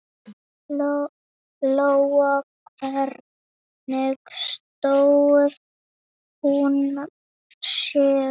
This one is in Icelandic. Lóa: Hvernig stóð hún sig?